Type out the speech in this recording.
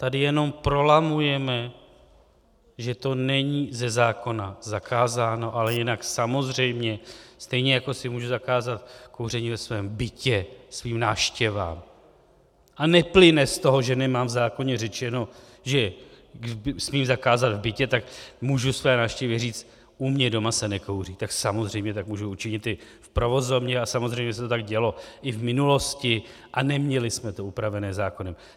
Tady jenom prolamujeme, že to není ze zákona zakázáno, ale jinak samozřejmě stejně jako si můžu zakázat kouření ve svém bytě svým návštěvám a neplyne z toho, že nemám v zákoně řečeno, že smím zakázat v bytě, tak můžu své návštěvě říci "u mě doma se nekouří", tak samozřejmě tak můžu učinit i v provozovně a samozřejmě se to tak dělo i v minulosti a neměli jsme to upraveno zákonem.